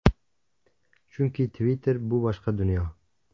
Chunki Twitter bu boshqa dunyo.